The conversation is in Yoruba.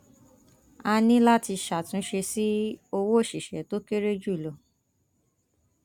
a ní láti ṣàtúnṣe sí owó òṣìṣẹ tó kéré jù lọ